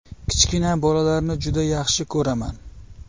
Kichkina bolalarni juda yaxshi ko‘raman.